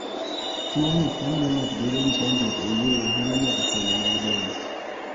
Tuo gund mamio ng'ato bedo gi chandruok e wuoyo hinyo nyaka fuoni mag del